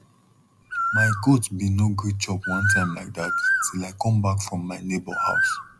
my goat bin no gree chop one time like dat til i come back from my neighbor house